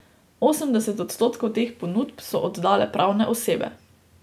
Osemdeset odstotkov teh ponudb so oddale pravne osebe.